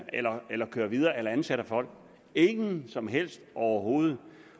eller eller kører videre eller ansætter folk ingen som helst overhovedet